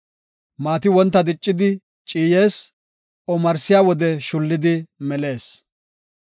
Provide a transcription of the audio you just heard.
Maati wonta diccidi ciyees; omarsiya wode shullidi melees.